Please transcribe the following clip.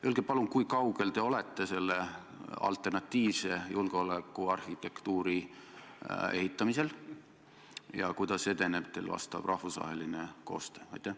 Öelge palun, kui kaugel te olete selle alternatiivse julgeolekuarhitektuuri ehitamisega ja kuidas edeneb teil vastav rahvusvaheline koostöö.